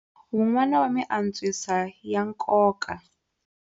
Wun'wana wa miantswiso ya nkoka.